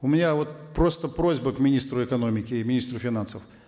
у меня вот просто просьба к министру экономики и министру финансов